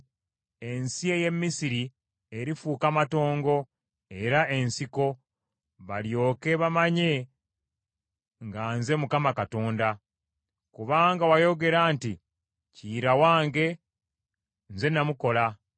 Ensi ey’e Misiri erifuuka matongo era ensiko, balyoke bamanye nga nze Mukama Katonda. “ ‘Kubanga wayogera nti, “Kiyira wange, nze namukola,”